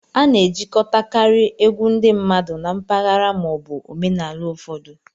A na-ejikọtakarị egwu ndị mmadụ na mpaghara ma ọ bụ omenala ụfọdụ.